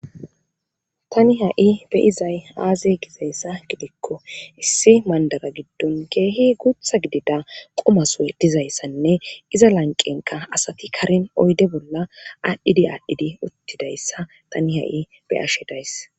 tani ha7i beyizay aaze gizayssa gidikko issi mandara giddon keehi guutha gidida qomasue dizayssanne iza lanqenka asati karin oyde bolla aadhdhidi aadhdhidi uttidayssa tani ha7i beyashedays